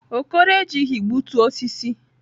Okoro ejighi gbutu osisi.